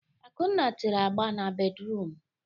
Akunna tere agba n'bédrụum.